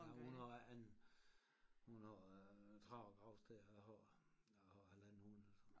Jamen hun har æ andet end hun har 30 gravsteder a har a har halvandet hundrede så